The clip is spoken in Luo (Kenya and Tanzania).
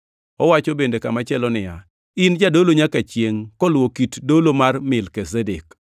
Owacho bende kamachielo niya, “In Jadolo nyaka chiengʼ koluwo kit dolo mar Melkizedek.” + 5:6 \+xt Zab 110:4\+xt*